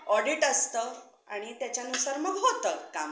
audit असतं आणि मग त्यांच्यानुसार होतं मग कामं.